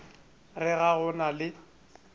re ga go na le